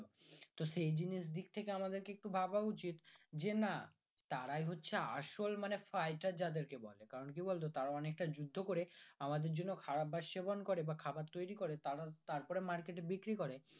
তো সেই জিনিস দিক থেকে আমাদেরকে একটু ভাবা উচিত যে না তারাই হচ্ছে আসল মানে faiter যাদেরকে বলে কারণ কি বলতো তারাও অনেকটা যুদ্ধ করে আমাদের জন্য খারাপ ভাত সেবন করে বা খাবার তৈরী করে তারার তারপর মার্কেটে বিক্রি করে